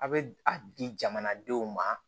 A bɛ a di jamanadenw ma